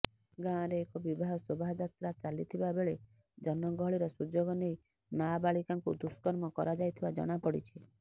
ଗାଁରେ ଏକ ବିବାହ ଶୋଭାଯାତ୍ରା ଚାଲିଥିବାବେଳେ ଜନଗହଳିର ସୁଯୋଗ ନେଇ ନାବାଳିକାଙ୍କୁ ଦୁଷ୍କର୍ମ କରାଯାଇଥିବା ଜଣାପଡିଛି